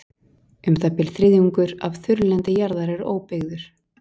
Um það bil þriðjungur af þurrlendi jarðar er óbyggður.